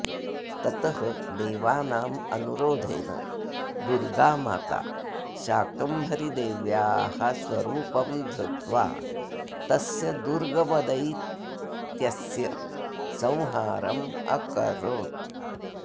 ततः देवानाम् अनुरोधेन दुर्गामाता शाकम्भरीदेव्याः स्वरूपं धृत्वा तस्य दुर्गमदैत्यस्य संहारम् अकरोत्